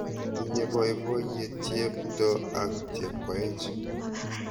Tinye poipoiyet Cheptoo ak Chepkoech